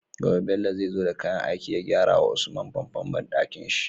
Gobe Bello zai zo da kayan aiki ya gyara wa usman famfon banɗakin shi